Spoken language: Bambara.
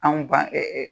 Anw ban